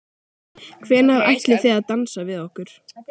Hvenær ætlið þið að dansa við okkur?